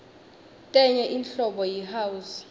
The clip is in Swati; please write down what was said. tenye inhlobo yi house